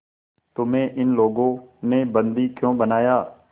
तुम्हें इन लोगों ने बंदी क्यों बनाया